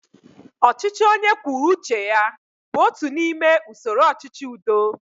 Ọchịchị onye kwuru uche ya bụ otu n'ime usoro ọchịchị udo